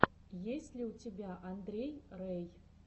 есть ли у тебя андрей рэй